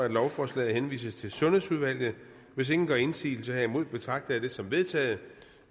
at lovforslaget henvises til sundhedsudvalget hvis ingen gør indsigelse herimod betragter jeg det som vedtaget